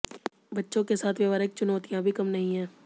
बच्चों के साथ व्यवहारिक चुनौतियाँ भी कम नहीं है